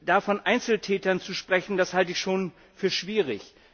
Da von Einzeltätern zu sprechen, das halte ich schon für schwierig.